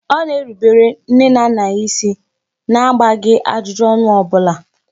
Ọ na-erubere nne na nna ya isi na agbaghị ajụjụ ọnụ ọbula